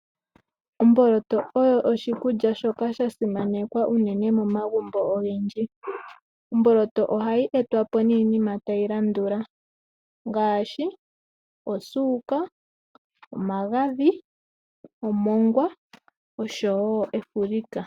Omboloto oyo oshikulya shoka shasimanekwa unene momagumbo ogendji. Omboloto ohayi etwa po niinima tayi landula ngaashi osuka, omagadhi, omongwa osho wo efulika.